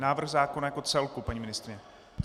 Návrh zákona jako celku, paní ministryně.